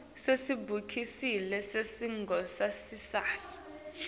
sekubhalisa sikhungo sangasese